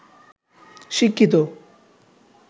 শিক্ষিত